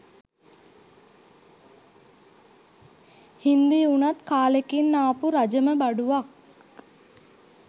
හින්දි වුණත් කාලෙකින් ආපු රජම බඩුවක්